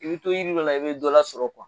I bɛ to jiri la i bɛ dɔ lasɔrɔ